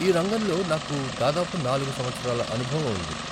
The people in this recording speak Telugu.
ఈ రంగంలో నాకు దాదాపు నాలుగు సంవత్సరాల అనుభవం ఉంది.